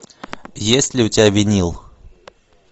есть ли у тебя винил